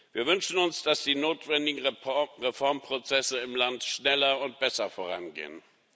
Wir wünschen uns, dass die notwendigen Reformprozesse im Land schneller und besser vorangehen.